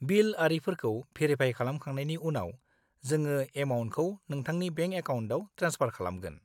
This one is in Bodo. -बिल आरिफोरखौ भेरिफाय खालामखांनायनि उनाव, जोङो एमाउन्टखौ नोंथांनि बेंक एकाउनटआव ट्रेन्सफार खालामगोन।